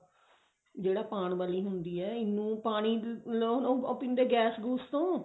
ਜਿਹੜਾ ਪਾਉਣ ਵਾਲੀ ਹੁੰਦੀ ਹੈ ENO ਪਾਣੀ ਉਹ ਪੀਂਦੇ ਗੈਸ ਗੁਸ ਤੋਂ